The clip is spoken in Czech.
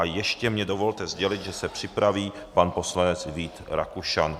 A ještě mně dovolte sdělit, že se připraví pan poslanec Vít Rakušan.